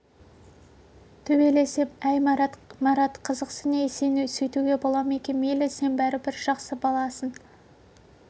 төбелесем әй марат марат қызықсың ей сен сөйтуге бола ма екен мейлі сен бәрібір жақсы баласың